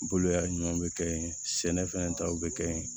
Boloya ɲuman bɛ kɛ yen sɛnɛfɛn taw bɛ kɛ yen